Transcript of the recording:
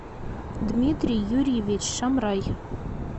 дмитрий юрьевич шамрай